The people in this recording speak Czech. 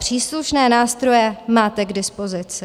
Příslušné nástroje máte k dispozici.